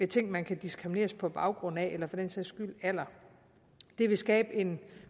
ting man kan diskrimineres på baggrund af eller for den sags skyld alder det vil skabe en